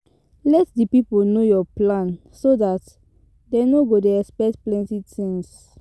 Let di pipo know your plan so dat dem no go dey expect plenty things